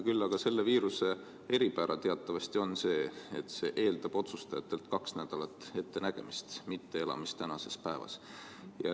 Küll aga on selle viiruse eripära teatavasti see, et see eeldab otsustajatelt kahe nädala võrra ettenägemist, mitte elamist tänases päevas.